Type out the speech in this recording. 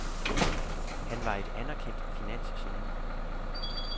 Han var et anerkendt finansgeni.